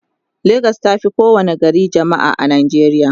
legas tafi kowa ni gari jamma'a a nijeriya